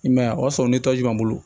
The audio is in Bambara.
I man ye a y'a sɔrɔ ni tɔji bɛ n bolo